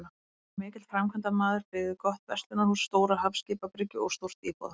Hann var mikill framkvæmdamaður, byggði gott verslunarhús, stóra hafskipabryggju og stórt íbúðarhús.